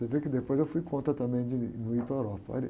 Você vê que depois eu fui contra também de não ir para a Europa, olha